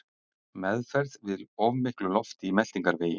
Meðferð við of miklu lofti í meltingarvegi